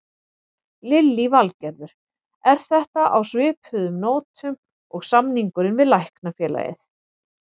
Lillý Valgerður: Er þetta á svipuðum nótum og samningurinn við Læknafélagið?